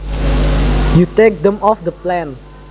you take them off the plant